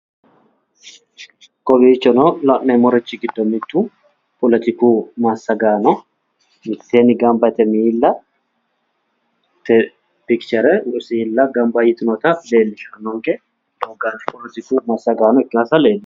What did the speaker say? Kowiichono la'neemorichi gido mitu politiku massagaano miteenni gamba yite miillate misilla gamba yitinotta leelishanonke doogaati politiku massagaano ikkansa leelishano.